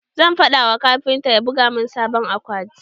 Zan faɗa wa kafinta ya buga mun sabon akwati.